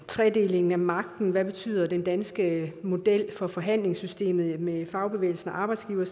tredelingen af magten hvad betyder den danske model for forhandlingssystemet med fagbevægelsen og arbejdsgiverne